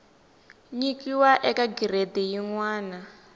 nyikiwa eka giredi yin wana